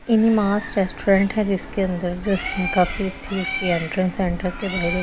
In a mall है जिसके अन्दर जो है काफी अच्छी इसकी इंट्रेंस के बाहर एक आदमी खड़ा है।